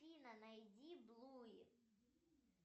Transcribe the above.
афина найди блуй